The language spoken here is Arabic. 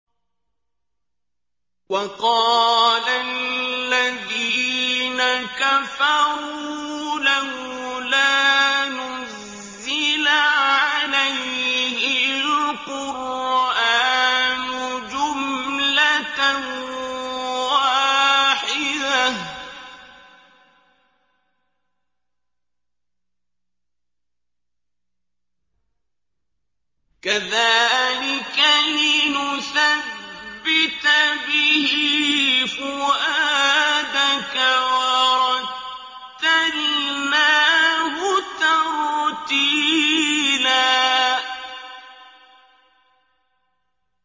وَقَالَ الَّذِينَ كَفَرُوا لَوْلَا نُزِّلَ عَلَيْهِ الْقُرْآنُ جُمْلَةً وَاحِدَةً ۚ كَذَٰلِكَ لِنُثَبِّتَ بِهِ فُؤَادَكَ ۖ وَرَتَّلْنَاهُ تَرْتِيلًا